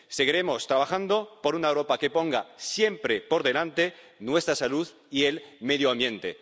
Seguiremos trabajando por una Europa que ponga siempre por delante nuestra salud y el medio ambiente.